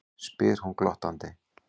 spyr hún glottandi.